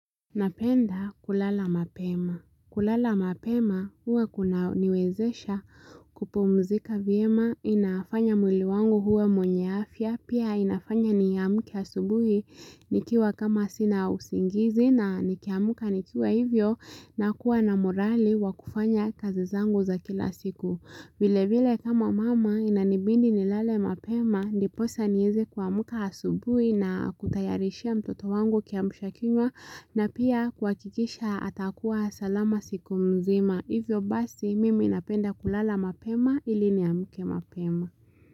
Napenda kulala mapema. Kulala mapema huwa kunaniwezesha kupumzika vyema inafanya mwili wangu kuwa mwenye afya. Pia inafanya niamke asubuhi nikiwa kama sina usingizi na nikiamka nikiwa hivyo nakuwa na morali wa kufanya kazi zangu za kila siku. Vile vile kama mama inanibindi nilale mapema, ndiposa nieze kuamka asubui na kutayarishia mtoto wangu kiamshakinywa na pia kuhakikisha atakuwa salama siku mzima. Hivyo basi mimi napenda kulala mapema ili niamke mapema.